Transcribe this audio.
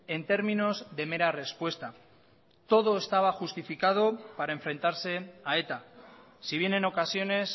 en términos de mera respuesta todo estaba justificado para enfrentarse a eta si bien en ocasiones